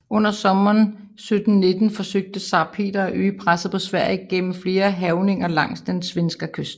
Under sommeren 1719 forsøgte zar Peter at øge presset på Sverige gennem flere hærgninger langs den svenska kyst